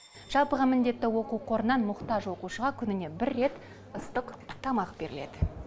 жалпыға міндетті оқу қорынан мұқтаж оқушыға күніне бір рет ыстық тамақ беріледі